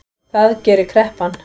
Það gerir kreppan